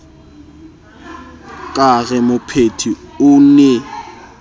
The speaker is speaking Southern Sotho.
ka re mopheti o ne